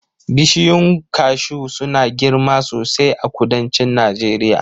Bishiyun kashu suna girma sosai a kudancin Najeriya